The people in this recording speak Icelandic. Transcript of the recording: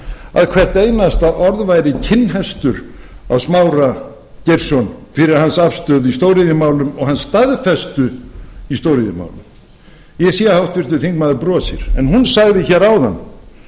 að hvert einasta orð væri kinnhestur á smára geirsson fyrir hans afstöðu í stóriðjumálum og hans staðfestu í stóriðjumálum ég sé að háttvirtur þingmaður brosir en hún sagði hér áðan að